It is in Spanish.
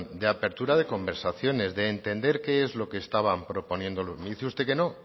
de apertura de conversaciones de entender qué es lo que estaban proponiendo me dice usted que no